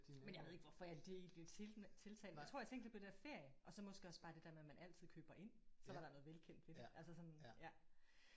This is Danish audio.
Men jeg ved ikke hvorfor jeg lige blev til tiltalt jeg tror jeg tænkte lidt på det der ferie og så måske også bare det der med at man altid køber ind. Så var der noget velkendt ved det altså sådan ja